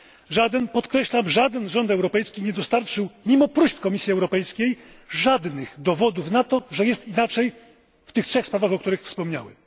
Żaden, podkreślam, żaden rząd europejski nie dostarczył, mimo próśb Komisji Europejskiej, żadnych dowodów na to, że jest inaczej w tych trzech sprawach, o których wspomniałem.